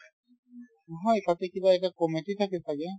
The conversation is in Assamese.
নহয় তাতে কিবা এটা committee থাকে ছাগে